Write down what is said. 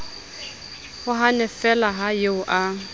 o hannefeela ha eo a